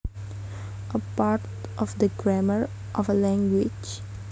A part of the grammar of a language